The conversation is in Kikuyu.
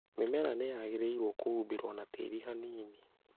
Mĩmera nĩ yagĩrĩirũo kũhumbĩrwo na tĩĩri hanini